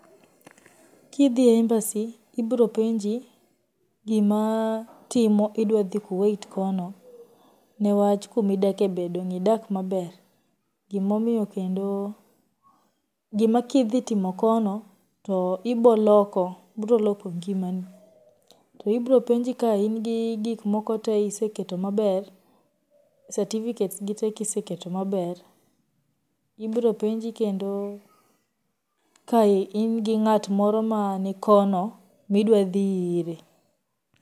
Kidhii Embassy, ibiropenji gimatimo idwadhii Kuwait kono niwach kumidake be dong' idak maber? Gimomiyo kendo gimakidhitimo kono to iboloko broloko ngimani, to ibropenji ka ingi gimkoko tee iseketo maber certificates gi tee kiseketo maber, ibropenji kendo ka ingi ng'at moro ma nikono ma idwadhii ire.